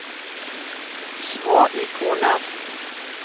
små ikoner